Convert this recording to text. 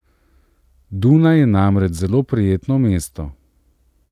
Dunaj je namreč zelo prijetno mesto.